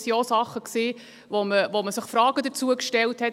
Denn das waren auch Dinge, zu denen man sich Fragen gestellt hat: